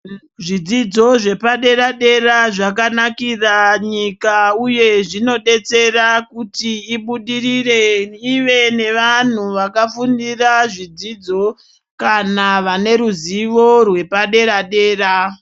Zvidzidzo zvepadera-dera zvakanakira nyika uye zvinodetsera kuti ibudirire, ive nevanhu vakafundira zvidzidzo kana vane ruzivo rwepadera-dera.